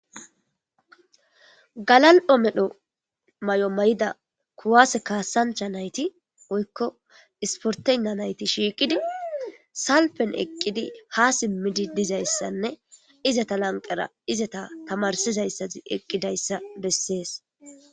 Galal'o medho may'o may'ida kuwaase kaassancha nayti woykko isportenna nayti shiiqidi salpen eqqidi ha simmidi dizayssanne izata lanqara izata tamarsizayssati eqqidayssa bessees.